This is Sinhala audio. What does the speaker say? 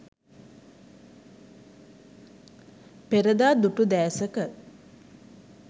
perada dutu desaka